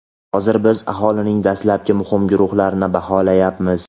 Hozir biz aholining dastlabki muhim guruhlarini baholayapmiz.